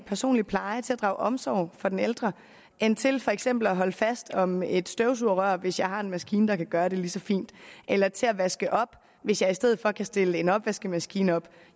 personlige pleje og til at drage omsorg for den ældre end til for eksempel at holde fast om et støvsugerrør hvis jeg har en maskine der kan gøre det lige så fint eller til at vaske op hvis jeg i stedet for kan stille en opvaskemaskine op